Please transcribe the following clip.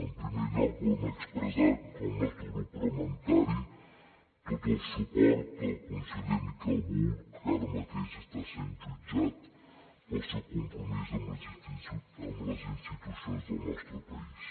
en primer lloc volem expressar en nom del nostre grup parlamentari tot el suport al conseller miquel buch que ara mateix està sent jutjat pel seu compromís amb les institucions del nostre país